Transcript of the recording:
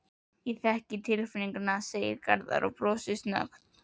Ég þekki tilfinninguna, segir Garðar og brosir snöggt.